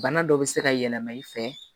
Bana dɔ bɛ se ka yɛlɛma i fɛ